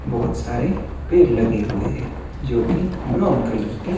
बहुत सारे पेड़ लगे हुए हैं जो कि ब्राउन कलर के--